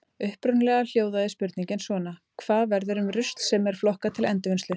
Upprunalega hljóðaði spurningin svona: Hvað verður um rusl sem er flokkað til endurvinnslu?